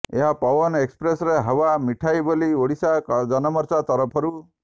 ଏହା ପୱନ ଏକ୍ସପ୍ରେସରେ ହାୱା ମିଠାଇ ବୋଲି ଓଡ଼ିଶା ଜନମୋର୍ଚା ତରଫରୁ